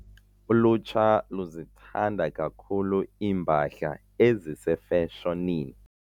Ulutsha luzithanda kakhulu iimpahla ezisefashonini.